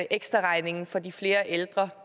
ekstraregningen for de flere ældre